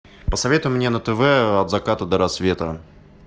посоветуй мне на тв от заката до рассвета